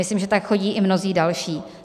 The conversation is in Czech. Myslím, že tak chodí i mnozí další.